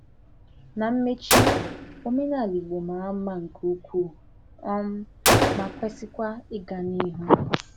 Na mmechi, omenala Ìgbò mara mma nke ukwuu um ma kwesịkwa ịga n’ihu.